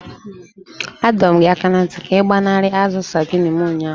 Adọọrọ m gị aka na ntị ka ị gbanarị azu saidini m ụnyaahụ!